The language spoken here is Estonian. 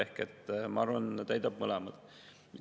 Ehk ma arvan, et täidab mõlemat.